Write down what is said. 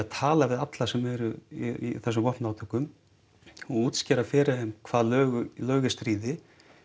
tala við alla sem eru í þessum vopnuðu átökum og útskýra fyrir þeim hvað lög lög í stríði